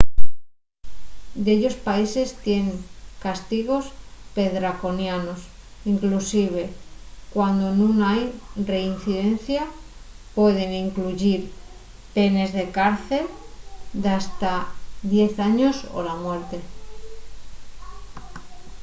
dellos países tienen castigos perdraconianos inclusive cuando nun hai reincidencia; pueden incluyir penes de cárcel d’hasta 10 años o la muerte